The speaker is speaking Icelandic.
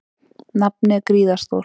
Nafnið er gríðarstórt.